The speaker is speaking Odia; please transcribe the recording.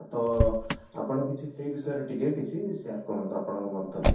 ତ ଆପଣ କିଛି ସେଇ ବିଷୟରେ ଟିକେ କିଛି share କରନ୍ତୁ ଆପଣ ଙ୍କ ମନ୍ତବ୍ୟ